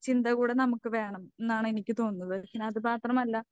ചിന്ത കൂടെ നമുക്ക് വേണംന്നാണ് എനിക്ക് തോന്നുന്നത്. പിന്നെ അത് മാത്രമല്ല